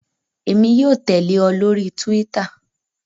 Emi yóò tẹle ọ lori Túwìtá